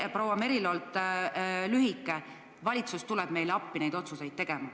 Ja proua Merilo vastas lühidalt, et valitsus tuleb neile appi neid otsuseid tegema.